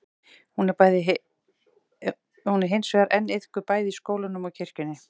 hún er hins vegar enn iðkuð bæði í skólanum og kirkjunni